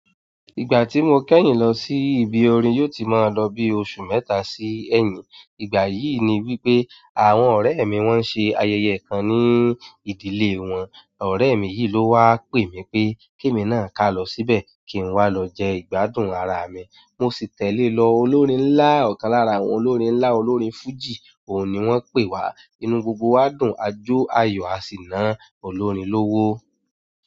Ìgbà tí mo kẹ́yìn lọ sí ibi orin yóò ti máa lọ bí oṣù mẹ́ta sí ẹyin. Ìgbà yìí ni wípé àwọn ọ̀rẹ́ mi wọ́n ṣe ayẹyẹ kan ní ìdílé wọn. Ọ̀rẹ́ mi yìí ló wá pè mí pé kí èmi náà ká lọ síbẹ̀ kí n wá lọ jẹ ìgbádùn ara mi. Mo sì tẹ̀lé lọ. Olórin ńlá ọ̀kan lára àwọn olórin ńlá, olórin fújì. Òun ni wọ́n pè wá. Inú gbogbo wá dùn, a jó, a yọ̀, a sì ná olórin lówó.